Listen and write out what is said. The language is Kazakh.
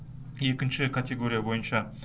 екінші категория бойынша